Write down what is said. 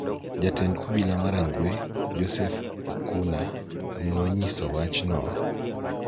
Jatend obila ma Rangwe, Joseph Okuna, nonyiso wachno,